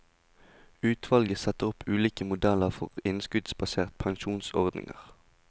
Utvalget setter opp ulike modeller for innskuddsbaserte pensjonsordninger.